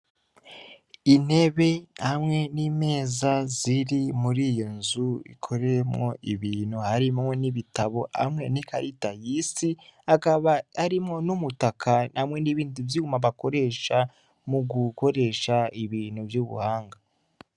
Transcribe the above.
Intebe hamwe n'imeza ziri muri iyo nzu ikoreyemwo ibintu, harimwo n'ibitabo hamwe n'ikarata y'isi, hakaba harimwo n'umutaka hamwe n'ibindi vyuma bakoresha mu gukoresha ibintu vy'ubuhanga.